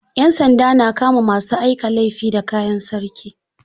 Yansanda na kama masu aika laifi da kayan sarki.